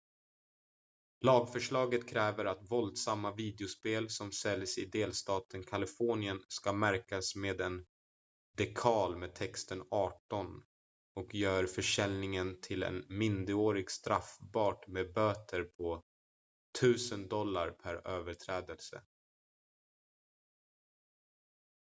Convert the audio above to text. "lagförslaget kräver att våldsamma videospel som säljs i delstaten kalifornien ska märkas med en dekal med texten "18" och gör försäljning till en minderårig straffbart med böter på $1000 per överträdelse.